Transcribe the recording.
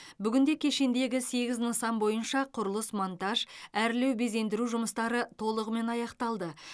бүгінде кешендегі сегіз нысан бойынша құрылыс монтаж әрлеу безендіру жұмыстары толығымен аяқталды